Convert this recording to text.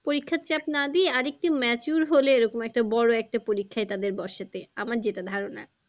পরিক্ষার চাপ না দিয়ে আর একটু mature হলে এরকম একটা বড়ো একটা পরিক্ষায় তাদের বসাতে আমার যেটা ধারণা।